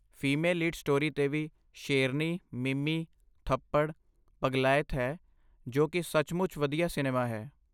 Female lead story 'ਤੇ ਵੀ ਸ਼ੇਰਨੀ, ਮਿਮੀ, ਥੱਪੜ, ਪਗਲਾਇਤ ਹੈ ਜੋ ਕਿ ਸੱਚਮੁੱਚ ਵਧੀਆ ਸਿਨੇਮਾ ਹੈ।